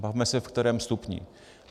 Bavme se, v kterém stupni.